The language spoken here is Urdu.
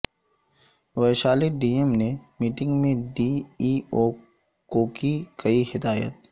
ویشالی ڈی ایم نے میٹنگ میں ڈی ای او کوکی کئی ہدایات